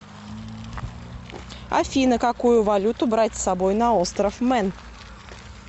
афина какую валюту брать с собой на остров мэн